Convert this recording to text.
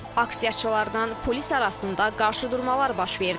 Aksiyaçılarla polis arasında qarşıdurmalar baş verdi.